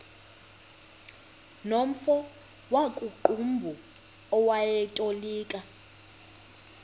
nomfo wakuqumbu owayetolika